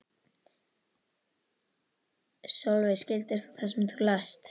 Sólveig: Skildir þú það sem þú last?